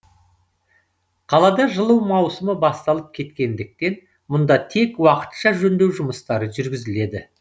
қалада жылу маусымы басталып кеткендіктен мұнда тек уақытша жөндеу жұмыстары жүргізіледі